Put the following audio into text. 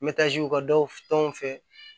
Me taaze ka daw tɔnw fɛ